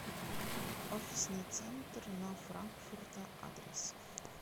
офисный центр на франкфурта адрес